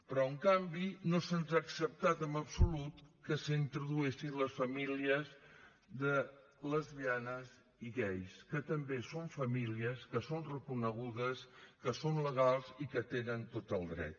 però en canvi no se’ns ha acceptat en absolut que s’introduïssin les famílies de lesbianes i gais que també són famílies que són reconegudes que són legals i que tenen tot el dret